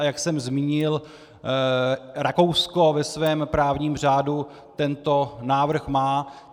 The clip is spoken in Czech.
a jak jsem zmínil, Rakousko ve svém právním řádu tento návrh má.